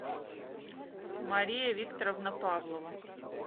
мария викторовна павлова